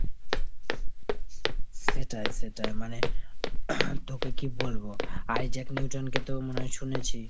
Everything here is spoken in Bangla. সেটাই সেটাই, মানে তোকে কী বলবো Isaac Newton কে তো মনে হয় শুনেছি ?